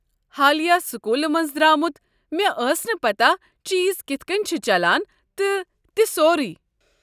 حالٕیہ سکوُلہٕ منٛزٕ در٘امُت مےٚ ٲس نہٕ پتاہ چیز كِتھ کٔنۍ چھِ چلان تہٕ تہِ سورُے۔